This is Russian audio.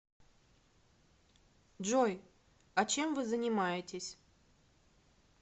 джой а чем вы занимаетесь